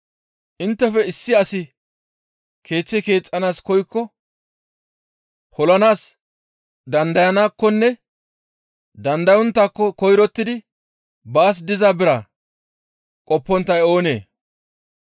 «Inttefe issi asi keeththe keexxanaas koykko polanaas dandayanaakkonne dandayonttaakko koyrottidi baas diza bira qopponttay oonee?